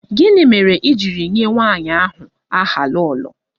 Gịnị mere e ji nye nwanyị ahụ aha 'Lolo'?